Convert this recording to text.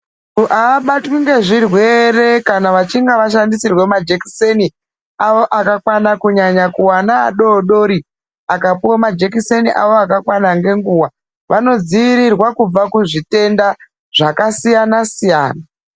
Muntu haabatwi nezvirwere kana achinge ashandisirwe majekiseni awo akakwana kunyanya kuvana adodori akapiwa majekiseni awo akakwana nenguwa wanodziwirirwa kubva kuzvitenda zvakasiyana-siyana.